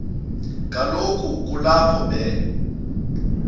kaloku kulapho be